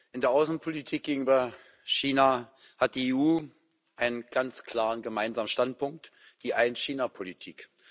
In der Außenpolitik gegenüber China hat die EU einen ganz klaren gemeinsamen Standpunkt die Ein China Politik.